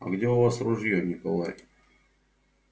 а где у вас ружье николай